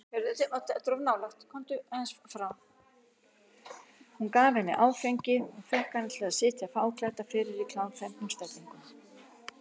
Hann gaf henni áfengi og fékk hana til að sitja fáklædda fyrir í klámfengnum stellingum.